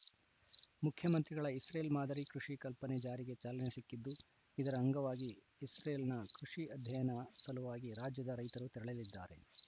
ಮುಖ್ಯಮಂತ್ರಿಗಳ ಇಸ್ರೇಲ್‌ ಮಾದರಿ ಕೃಷಿಕಲ್ಪನೆ ಜಾರಿಗೆ ಚಾಲನೆ ಸಿಕ್ಕಿದ್ದು ಇದರ ಅಂಗವಾಗಿ ಇಸ್ರೇಲ್‌ನ ಕೃಷಿ ಅಧ್ಯಯನ ಸಲುವಾಗಿ ರಾಜ್ಯದ ರೈತರು ತೆರಳಲಿದ್ದಾರೆ